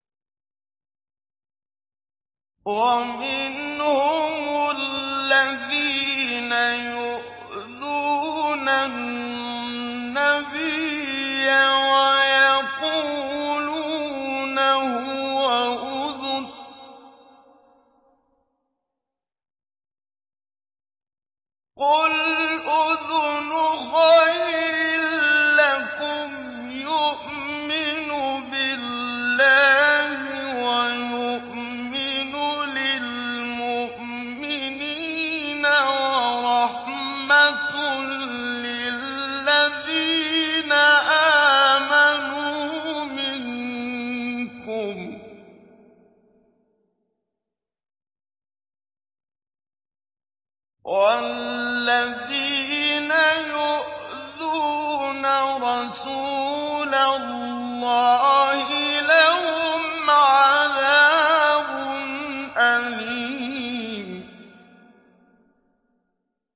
وَمِنْهُمُ الَّذِينَ يُؤْذُونَ النَّبِيَّ وَيَقُولُونَ هُوَ أُذُنٌ ۚ قُلْ أُذُنُ خَيْرٍ لَّكُمْ يُؤْمِنُ بِاللَّهِ وَيُؤْمِنُ لِلْمُؤْمِنِينَ وَرَحْمَةٌ لِّلَّذِينَ آمَنُوا مِنكُمْ ۚ وَالَّذِينَ يُؤْذُونَ رَسُولَ اللَّهِ لَهُمْ عَذَابٌ أَلِيمٌ